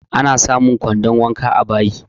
Ana samun kwandon wanka a bayi